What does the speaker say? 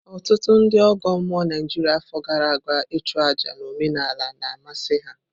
Ọtụtụ ndị ọgọ mmụọ Naijiria afọ gara aga ichu àjá na omenala na amasị ha.